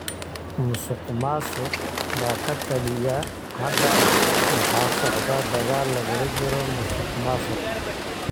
Musuq maasuq baa ka taliya. Hadda waxaa socda dagaal lagula jiro musuqmaasuqa.